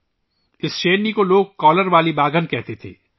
لوگ اس شیرنی کو کالر والی شیرنی کہتے تھے